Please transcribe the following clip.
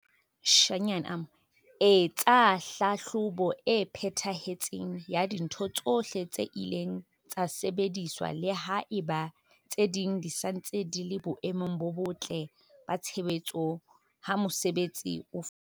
Etsa tlhahlobo e phethahetseng ya dintho tsohle tse ileng tsa sebediswa le ha eba tse ding di sa ntse di le boemong bo botle ba tshebetso ha mosebetsi o fela.